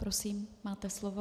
Prosím, máte slovo.